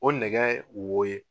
O nɛgɛ wo ye.